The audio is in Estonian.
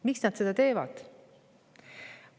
Miks nad seda teevad?